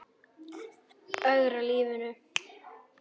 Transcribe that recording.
Ögra lífi mínu.